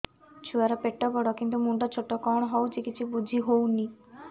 ଛୁଆର ପେଟବଡ଼ କିନ୍ତୁ ମୁଣ୍ଡ ଛୋଟ କଣ ହଉଚି କିଛି ଵୁଝିହୋଉନି